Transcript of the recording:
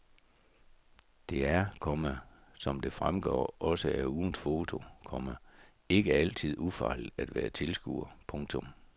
Det er, komma som det fremgår også af ugens foto, komma ikke altid ufarligt at være tilskuer. punktum